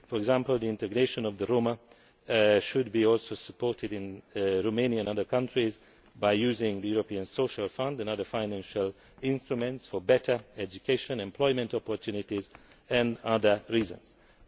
For example, the integration of the Roma should also be supported in Romania and other countries by using the European Social Fund and other financial instruments for better education and employment opportunities and other purposes.